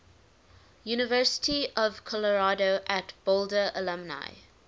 university of colorado at boulder alumni